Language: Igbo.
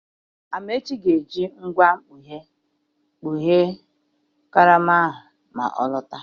Amechi ga-eji ngwa mkpọghe kpoghee karama ahụ ma ọ lọta.